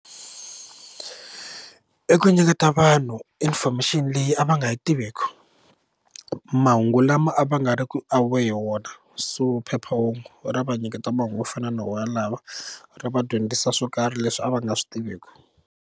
I ku nyiketa vanhu information leyi a va nga yi tiveku mahungu lama a va nga ri ku aware hi wona so phephahungu ra va nyiketa mahungu yo fana na wona lawa ri va dyondzisa swo karhi leswi a va nga swi tiveki.